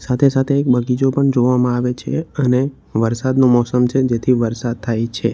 સાથે સાથે એક બગીચો પણ જોવામાં આવે છે અને વરસાદનું મોસમ છે જેથી વરસાદ થાય છે.